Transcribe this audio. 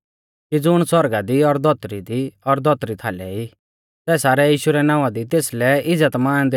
कि ज़ुण सौरगा दी और धौतरी दी और धौतरी थालै ई सै सारै यीशु रै नावां दी तेसलै इज़्ज़तमान दैणा लै घुंडै टेका